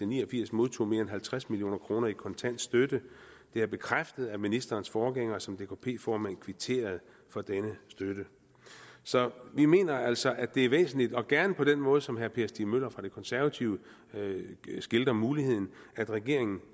ni og firs modtog mere end halvtreds million kroner i kontant støtte det er bekræftet at ministerens forgænger som dkp formand kvitterede for denne støtte så vi mener altså at det er væsentligt og gerne på den måde som herre per stig møller fra de konservative skildrer muligheden af at regeringen